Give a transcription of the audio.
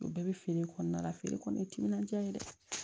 O bɛɛ bɛ feere kɔnɔna la feere kɔni ye timinandiya ye dɛ